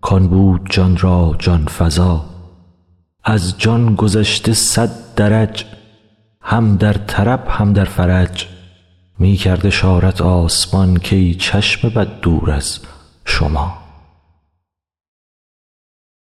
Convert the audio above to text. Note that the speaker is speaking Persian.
کان بود جان را جان فزا از جان گذشته صد درج هم در طرب هم در فرج می کرد اشارت آسمان کای چشم بد دور از شما